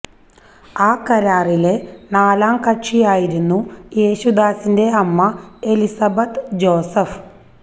ആ കരാറിലെ നാലാം കക്ഷിയായിരുന്നു യേശുദാസിന്റെ അമ്മ എലിസബത്ത് ജോസഫ്